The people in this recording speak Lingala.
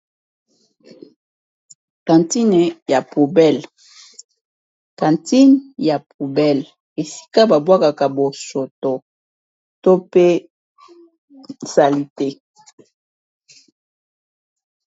kantine ya poubel kantine ya poubel esika babwakaka bosoto to pe sali te